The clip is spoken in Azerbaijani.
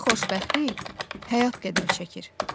Onda xoşbəxtlik həyat qədər çəkir.